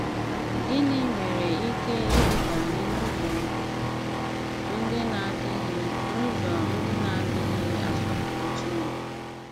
Gịnị nwere ike iduba anyị n’ụzọ ndị na-adịghị n’ụzọ ndị na-adịghị asọpụrụ Chineke?